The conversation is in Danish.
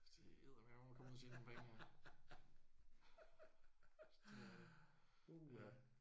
Det er eddermaneme med at komme ud og tjene nogle penge ja. Det er det ja